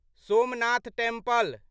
Somnath temple